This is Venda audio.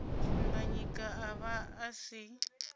dimbanyika a vha a si